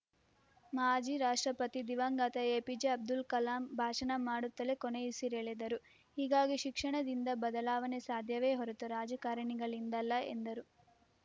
ಮಾಜಿ ರಾಷ್ಟ್ರಪತಿ ದಿವಂಗತ ಎಪಿಜೆ ಅಬ್ದುಲ್‌ ಕಲಾಂ ಭಾಷಣ ಮಾಡುತ್ತಲೇ ಕೊನೆಯುಸಿರೆಳೆದರು ಹೀಗಾಗಿ ಶಿಕ್ಷಣದಿಂದ ಬದಲಾವಣೆ ಸಾಧ್ಯವೇ ಹೊರತು ರಾಜಕಾರಣಿಗಳಿಂದಲ್ಲ ಎಂದರು